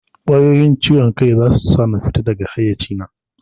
Ƙwayoyin ciwon kai zasu sa na fita daga haiyaci na